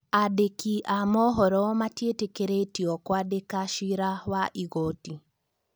Andĩki a mohoro matietĩkĩrĩtio kwandĩka ciira wa igoti